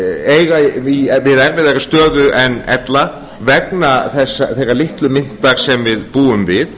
eiga við erfðari stöðu en ella vegna þeirra litlu myntar sem við búum við